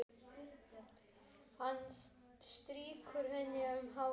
Hann strýkur henni um hárið.